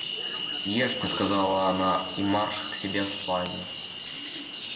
ешьте сказала она и марш к себе в спальню